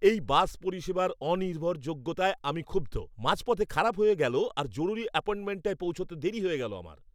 এই বাস পরিষেবার অনির্ভরযোগ্যতায় আমি ক্ষুব্ধ। মাঝপথে খারাপ হয়ে গেল আর জরুরি অ্যাপয়েন্টমেন্টটায় পৌঁছতে দেরি হয়ে গেল আমার!